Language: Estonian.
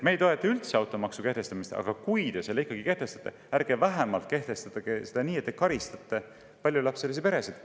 Me ei toeta automaksu kehtestamist, aga kui te selle siiski kehtestate, siis vähemalt ärge kehtestage seda nii, et te karistate paljulapselisi peresid.